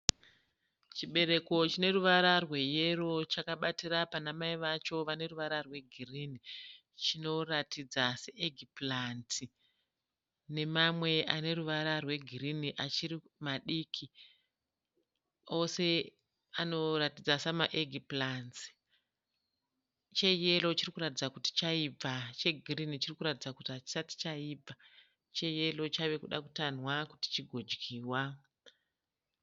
Chibereko chineruvara rweyero chakabatira panamai vacho vaneruvara rwegirini. Chinoratidza seEgg-plant nemamwe aneruvara rwegirini achiri madiki. Ese anoratidza sema Egg-plants. Cheyero chirikuratidza kuti chaibva chegirini chirikuratidza kuti hachisati chaibva. Cheyero chavekuda kutanhwa kuti chigodyirwa.